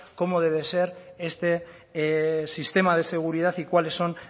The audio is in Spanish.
cómo debe ser este sistema de seguridad y cuáles son